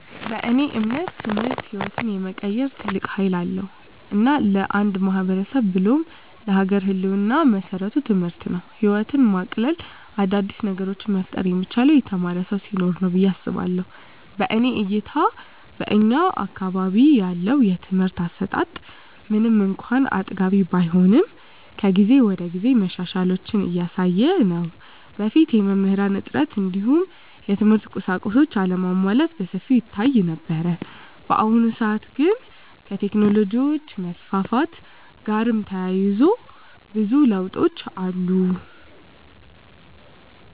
በእኔ እምነት ትምህርት ህይወትን የመቀየር ትልቅ ሀይል አለዉ። እና ለአንድ ማህበረሰብ ብሎም ለሀገር ህልወና መሰረቱ ትምህርት ነው። ህይወትን ማቅለል : አዳዲስ ነገሮችን መፍጠር የሚቻለው የተማረ ሰው ሲኖር ነው ብየ አስባለሁ። በእኔ እይታ በእኛ አካባቢ ያለው የትምህርት አሰጣት ምንም እንኳን አጥጋቢ ባይሆንም ከጊዜ ወደጊዜ መሻሻሎችን እያሳየ ነው። በፊት የመምህራን እጥረት እንዲሁም የትምህርት ቁሳቁሶች አለመሟላት በሰፊው ይታይ ነበር። በአሁኑ ሰአት ግን ከቴክኖሎጅ መስፋፋት ጋርም ተያይዞ ብዙ ለውጦች አሉ።